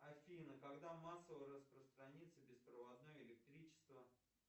афина когда массово распространится беспроводное электричество